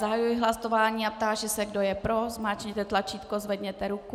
Zahajuji hlasování a táži se, kdo je pro, zmáčkněte tlačítko, zvedněte ruku.